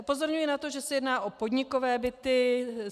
Upozorňuji na to, že se jedná o podnikové byty.